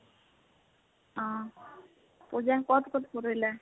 অহ পুজা ক'ত ক'ত, ফুৰিলা?